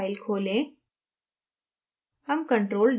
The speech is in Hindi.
controldict file खोलें